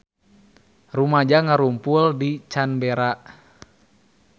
Rumaja ngarumpul di Canberra